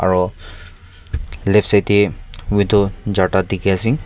aro left side tey widow charta dikhi ase.